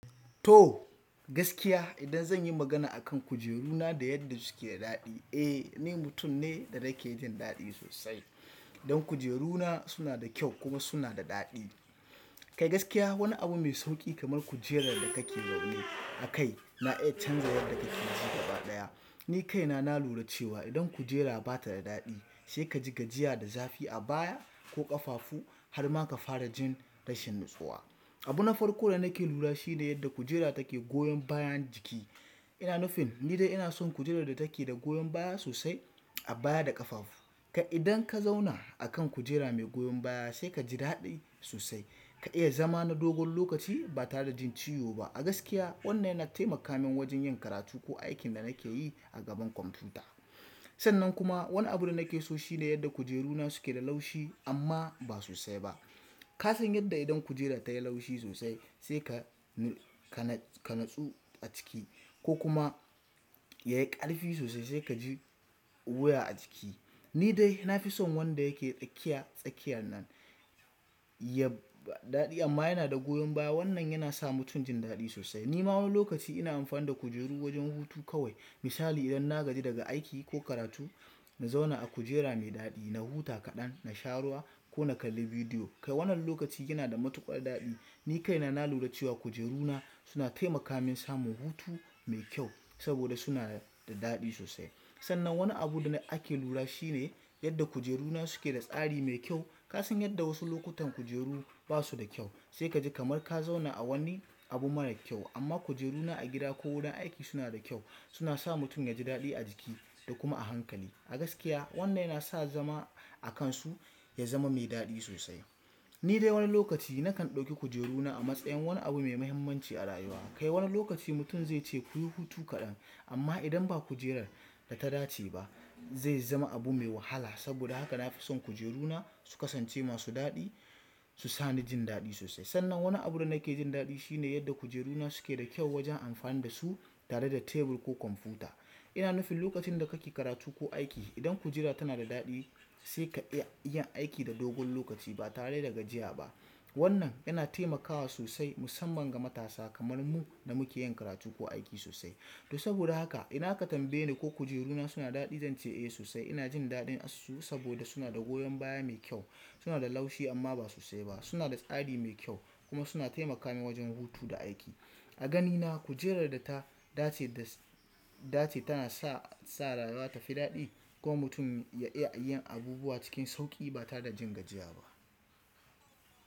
To gaskiya idan zanyi magana akan kujeru na da yadda suke da daɗi eh ni mutum ne da nakejin daɗi sosai dan kujeru na suna da kyau kuma suna da daɗi. Kai gaskiya wani abu mai sauƙi kamar kujerar da kake zaune akai na iya canza yadda kake ji gaba ɗaya. Ni kaina na lura cewa idan kujera ba ta da daɗi, sai ka ji gajiya da zafi a baya ko ƙafafu har ma ka fara jin rashin natsuwa. Abu na farko da nake lura shi ne yadda kujera take goyon bayan jiki. Ina nufin ni dai ina son kujerar da take da goyon baya sosai a baya da ƙafafu. Kai idan ka zauna a kan kujera mai goyon baya sai ka ji daɗi sosai. Ka iya zama na dogon lokaci ba tare da jin ciwo ba. A gaskiya wannan yana taimaka min wajen yin karatu ko aikin da nake yi a gaban kwamfuta. Sannan kuma wani abun da nake so shi ne yadda kujeruna suke da laushi amma ba sosai ba. Ka san yadda idan kujera tayi laushi sosai sai ka natsu a jiki ko kuma yayi ƙarfi sosai sai ka ji wuya a jiki. Ni dai na fi son wanda yake tsakiya tsakiyar nan. Ya ba daɗi amma yana da goyon baya. Wannan yana sa mutum jin daɗi sosai. Ni ma wani lokaci ina amfani da kujeru wajen hutu kawai. Misali idan na gaji daga aiki ko karatu, na zauna a kujera mai daɗi, na huta kaɗan, na sha ruwa ko na kalli bidiyo. Kai wannan lokaci yana da matuƙar daɗi. Ni kaina na lura cewa kujeruna suna taimaka min samu hutu mai kyau saboda suna da daɗi sosai. Sannan wani abu da ake lura shi ne yadda kujeruna suke da tsari mai kyau. Ka san yadda wasu lokutan kujeru ba su da kyau, sai ka ji kamar ka zauna a wani abu mara kyau. Amma kujeruna a gida ko wurin aiki suna da kyau. Suna sa mutum ya ji daɗi a jiki da kuma a hankali. A gaskiya wannan yana sa zama a kansu ya zama mai daɗi sosai. Ni dai wani lokaci nakan ɗauki kujeruna a matsayin wani abu mai mahimmanci a rayuwa. Kai wani lokaci mutum zai ce kuyi hutu kaɗan amma idan ba kujerar da ta dace ba zai zama abu mai wahala. Saboda haka na fi son kujeruna su kasance masu daɗi, su sa ni jin daɗi sosai. Sannan wani abun da nake jin daɗi shi ne yadda kujeruna suke da kyau wajen amfani da su tare da tebur ko kwamfuta. Ina nufin lokacin da kake karatu ko aiki, idan kujera tana da daɗi sai ka iya yin aiki na dogon lokaci ba tare da gajiya ba. Wannan yana taimakawa sosai musamman ga matasa kamar mu da muke yin karatu ko aiki sosai. To saboda haka idan ka tambaye ni ko kujeruna suna daɗi, zan ce eh sosai. Ina jin daɗin assu saboda suna da goyon baya mai kyau, suna da laushi amma ba sosai ba, suna da tsari mai kyau kuma suna taimaka min wajen hutu da aiki. A ganina kujerar da ta dace da dace tana sa rayuwa ta fi daɗi kuma mutum ya iya yin abubuwa cikin sauƙi ba tare da jin gajiya ba.